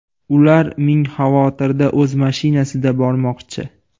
Ular ming xavotirda o‘z mashinasida bormoqchi.